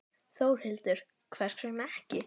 Þórhildur: Hvers vegna ekki?